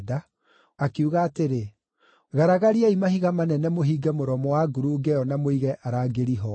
akiuga atĩrĩ, “Garagariai mahiga manene mũhinge mũromo wa ngurunga ĩyo na mũige arangĩri ho.